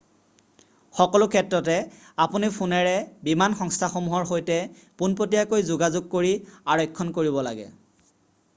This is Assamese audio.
সকলো ক্ষেত্ৰতে আপুনি ফোনেৰে বিমান সংস্থাসমূহৰ সৈতে পোনপটীয়াকৈ যোগাযোগ কৰি আৰক্ষণ কৰিব লাগে